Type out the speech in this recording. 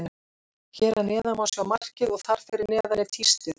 Hér að neðan má sjá markið og þar fyrir neðan er tístið.